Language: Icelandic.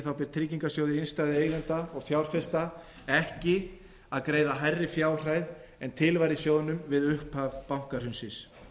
ber tryggingarsjóði innstæðueigenda og fjárfesta ekki að greiða hærri fjárhæð en til var í sjóðnum við upphaf bankahrunsins